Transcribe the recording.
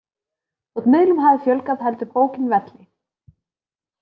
Þótt miðlum hafi fjölgað heldur bókin velli.